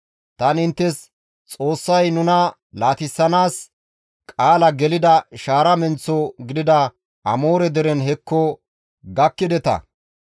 Tani inttes, ‹Xoossay nuna laatissanaas qaala gelida shaara menththo gidida Amoore dere hekko gakkideta.